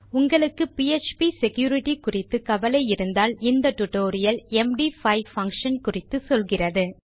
உங்களுக்கு PHP security குறித்து கவலை இருந்தால் இந்த டியூட்டோரியல் எம்டி5 பங்ஷன் குறித்து சொல்கிறது